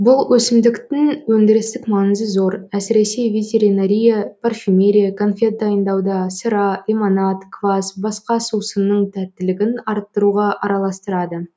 бүл өсімдіктің өндірістік маңызы зор әсіресе ветеринария парфюмерия конфет дайындауда сыра лимонад квас басқа сусынның тәттілігін арттыруға араластырады